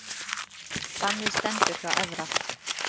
Bannið stendur hjá Evra